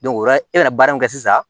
ola e bɛna baara min kɛ sisan